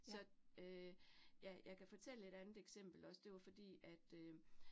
Så øh ja, jeg kan fortælle et andet eksempel også, det var fordi at øh